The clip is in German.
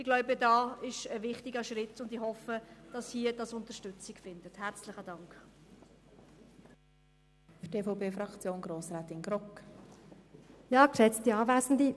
Ich glaube, hier geht es um einen wichtigen Schritt, und ich hoffe, dass der Antrag im Grossen Rat Unterstützung findet.